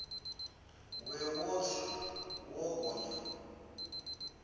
we wo tsa wo gonya